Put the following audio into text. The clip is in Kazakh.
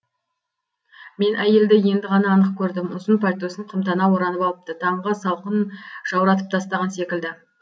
мен әйелді енді ғана анық көрдім ұзын пальтосын қымтана оранып алыпты таңғы салқын жауратып тастаған секілді